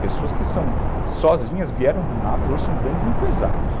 Pessoas que são sozinhas, vieram do nada, hoje são grandes empresários.